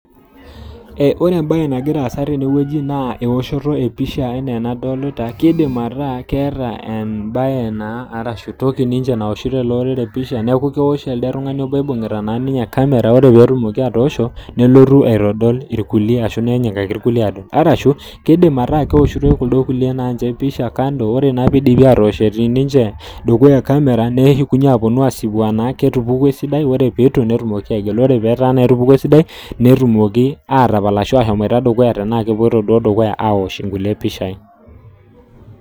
Ore embae nagira asa tenewueji naa eoshoto ee pisha enaa enadolita keidim ataa keeta embae naa aarashu entoki naa naoshito ele orere empisha niaku keosh elde tungani oibungita naa ninye camera ore pee etumoki naa ninye atoosho nelotu aitodol irkulie arashu enyikaki rkulikae adol keidim ataa keoshitoi naa ninche kuldo lie empisha kando ore naa pee eidipi atosh etii naa ninche dukuya camera neshukunye naa ninche aapuonu asipu enaa ketupukuo esidai ore pee eitu netumoki aigila ore naa pee etupukuo esidai netumoki atapal ashua ahomoita dukuya tenaa kepuoito duo dukuya aosh nkulie pishai